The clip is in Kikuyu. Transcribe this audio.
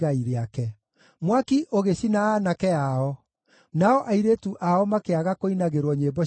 Mwaki ũgĩcina aanake ao, nao airĩtu ao makĩaga kũinagĩrwo nyĩmbo cia ũhiki;